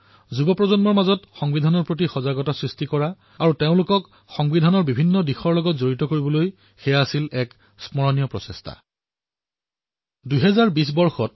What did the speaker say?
যুৱসমাজৰ মাজত সংবিধানৰ বিষয়ে সজাগতা বৃদ্ধি কৰাৰ বাবে আৰু তেওঁলোকক সংবিধানৰ পদক্ষেপসমূহৰ সৈতে জড়িত কৰাৰ বাবে এয়া এক স্মৰণীয় প্ৰসংগ হিচাপে বিবেচিত হৈছিল